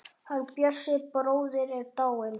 Hann Bjössi bróðir er dáinn.